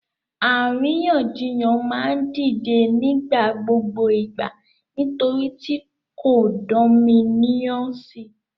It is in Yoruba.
Àríyànjiyàn ma n dide ni nigbagbogbo igba nitori ti condominiumsi